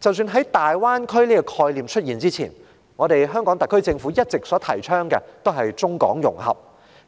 在"大灣區"這個概念出現前，香港特區政府一直提倡中港融合，